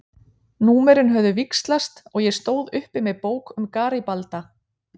Númerin höfðu víxlast og ég stóð uppi með bók um Garibalda.